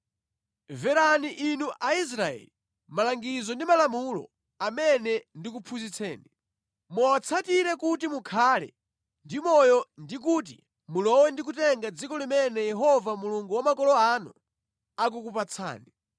Mverani inu Aisraeli, malangizo ndi malamulo amene ndikuphunzitseni. Muwatsatire kuti mukhale ndi moyo ndi kuti mulowe ndi kutenga dziko limene Yehova Mulungu wa makolo anu akukupatsani.